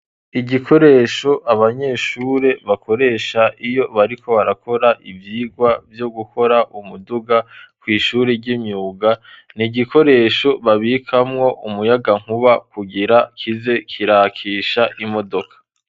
Igikoresho abanyeshuri bakoresha iyo bariko barakora ivyigwa vyo gukora umuduga kw'ishuri ry'imyuga, ni gikoresho babikamwo umuyagankuba kugira kize kirakisha imodoka.